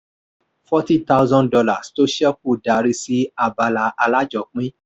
fourty thousand dollars tó ṣẹ́kù darí sí abala alájọpín.